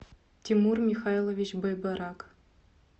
тимур михайлович байбарак